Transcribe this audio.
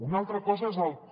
una altra cosa és el com